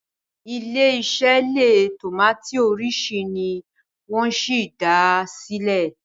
ilé ise leè tomati orisi ni wón sí dá silẹ